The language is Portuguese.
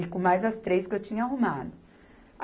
E com mais as três que eu tinha arrumado.